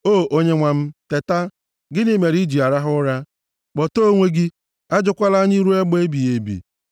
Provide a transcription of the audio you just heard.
O, Onyenwe m teta! Gịnị mere i ji arahụ ụra? Kpọtee onwe gị! Ajụkwala anyị ruo mgbe ebighị ebi.